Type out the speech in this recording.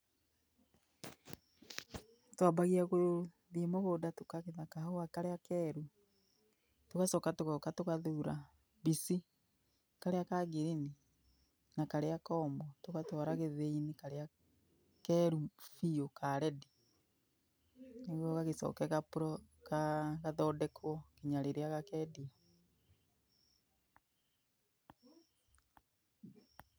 Twambagia gũthiĩ mũgũnda tũkagetha kahũa karĩa keru, tũgacoka tũgoka tũgathura mbici ,karĩa ka ngirini na karĩa komũ. Tũgatwara gĩthĩi-inĩ karĩa keru biũ ka rendi nĩguo gagĩcoke gathondekwo nginya rĩrĩa gakendio.